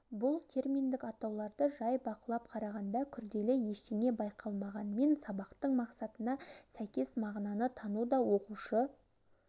бұл терминдік атауларды жай бақылап қарағанда күрделі ештеңе байқалмағанмен сабақтың мақсатына сәйкес мағынаны тану да оқушы